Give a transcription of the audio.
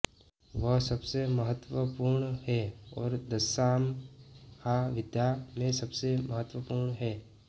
वह सबसे महत्वपूर्ण है और दशामहाविद्या में सबसे महत्वपूर्ण है